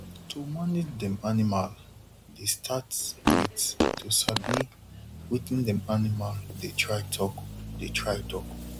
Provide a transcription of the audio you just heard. to manage dem animal the start with to sabi wetin dem animal dey try talk dey try talk